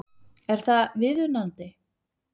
Er það viðunandi?